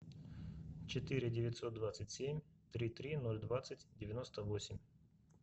четыре девятьсот двадцать семь три три ноль двадцать девяносто восемь